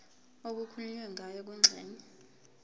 okukhulunywe ngayo kwingxenye